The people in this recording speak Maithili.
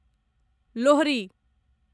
लोहरी